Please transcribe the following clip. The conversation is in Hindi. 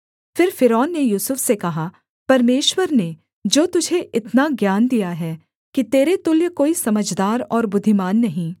फिर फ़िरौन ने यूसुफ से कहा परमेश्वर ने जो तुझे इतना ज्ञान दिया है कि तेरे तुल्य कोई समझदार और बुद्धिमान नहीं